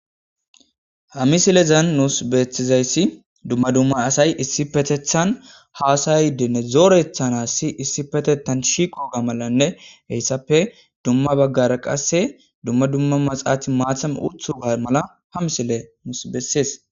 Hamisilezan nuus bethizayssi dumma dumma asay issipetethan haasay dene zoorethan assi issipetetan shiqoga malanne heyssappe dumma baggara qasse dumma dumma maxaathi maatham uthu ga mala hamisile mus bessees.